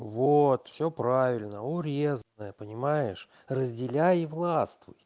вот всё правильно урезанная понимаешь разделяй и властвуй